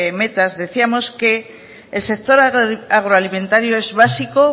metas decíamos que el sector agroalimentario es básico